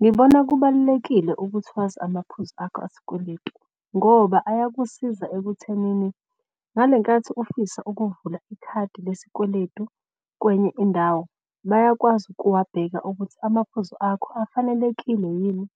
Ngibona kubalulekile ukuthi wazi amaphuzu akho asikweletu ngoba ayakusiza ekuthenini ngale nkathi ufisa ukuvula ikhadi lesikweletu kwenye indawo. Bayakwazi ukuwabeka ukuthi amaphuzu akho afanelekile yini